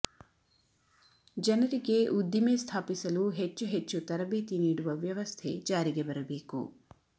ಜನರಿಗೆ ಉದ್ದಿಮೆ ಸ್ಥಾಾಪಿಸಲು ಹೆಚ್ಚು ಹೆಚ್ಚು ತರಬೇತಿ ನೀಡುವ ವ್ಯವಸ್ಥೆೆ ಜಾರಿಗೆ ಬರಬೇಕು